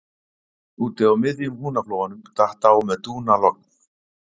Úti á miðjum Húnaflóanum datt á með dúnalogn